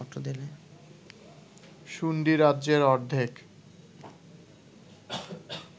শুন্ডীরাজ্যের অর্ধেক